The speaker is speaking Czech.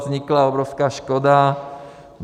Vznikla obrovská škoda.